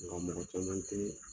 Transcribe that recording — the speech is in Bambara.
M bɛ yɔrɔ mina cɛ tɛ